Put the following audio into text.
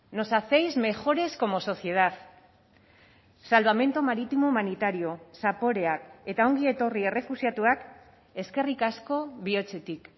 nos hacéis mejores como sociedad salvamento marítimo humanitario zaporeak eta ongi etorri errefuxiatuak eskerrik asko bihotzetik